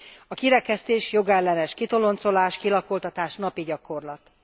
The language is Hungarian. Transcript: A kirekesztés, jogellenes kitoloncolás, kilakoltatás napi gyakorlat.